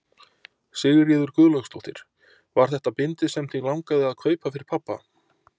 Sigríður Guðlaugsdóttir: Var þetta bindið sem þig langaði að kaupa fyrir pabba?